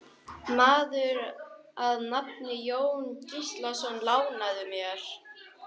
Maður að nafni Jón Gíslason lánaði mér.